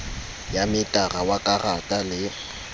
ya metara wa karata le